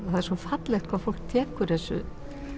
það er svo fallegt hvað fólk tekur þessu